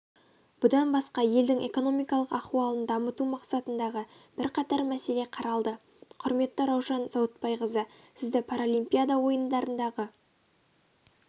бұдан басқа елдің экономикалық ахуалын дамыту мақсатындағы бірқатар мәселе қаралды құрметті раушан заутбайқызы сізді паралимпиада ойындарындағы